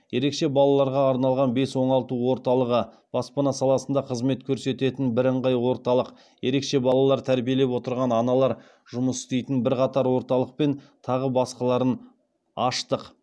ерекше балаларға арналған бес оңалту орталығы баспана саласында қызмет көрсететін бірыңғай орталық ерекше балалар тәрбиелеп отырған аналар жұмыс істейтін бірқатар орталық пен тағы басқаларын аштық